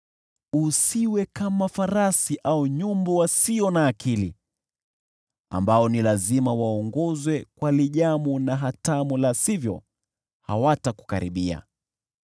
Usiwe kama farasi au nyumbu wasio na akili, ambao ni lazima waongozwe kwa lijamu na hatamu la sivyo hawatakukaribia.